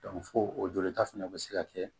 fo o jolita fana bɛ se ka kɛ